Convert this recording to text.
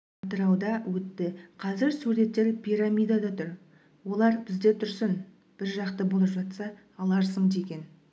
атырауда өтті қазір суреттер пирамидада тұр олар бізде тұрсын бір жақта болып жатса аларсың деген